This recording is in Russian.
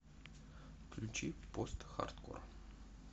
включи постхардкор